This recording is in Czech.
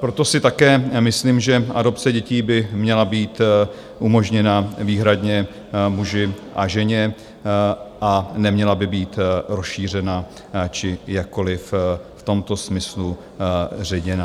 Proto si také myslím, že adopce dětí by měla být umožněna výhradně muži a ženě a neměla by být rozšířena či jakkoliv v tomto smyslu ředěna.